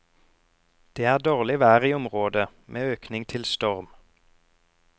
Det er dårlig vær i området, med økning til storm.